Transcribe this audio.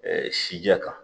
Ɛɛ si jɛ kan